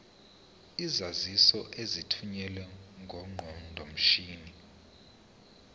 izaziso ezithunyelwe ngeqondomshini